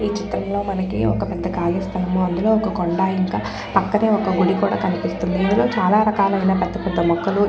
ఈ చిత్రం లో మనకు ఒక ఖాళీ స్థలము అందులో ఒక కొండ ఇంకా పక్కన ఒక ఇల్లు కూడా కనిపిస్తుంది. ఇక్కడ చాలా రకాలైన పెద్దపెద్ద మొక్కలు--